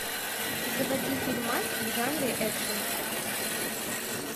заводи фильмас в жанре экшн